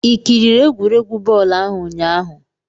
i kiriri egwuregwu bọọlụ ahụ ụnyahụ?